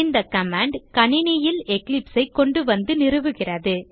இந்த கமாண்ட் கணினியில் eclipse ஐ கொண்டுவந்து நிறுவுகிறது